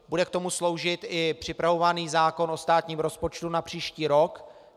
Bude k tomu sloužit i připravovaný zákon o státním rozpočtu na příští rok.